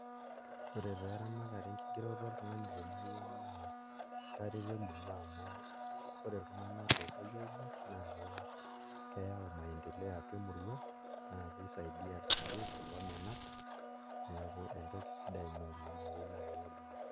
Ore taa eramatare enkigeroto oltung'ani temurua naa etareto emurua amu ore iltung'anak loopuoi aigerr naa keyau maendeleo atua emurua naa kisaidia irkulie kulo menat, neeku entoki sidai ina oleng' naa keyieu naa kelo dukuya.